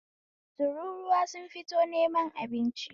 Tururuwa sun fito neman abinci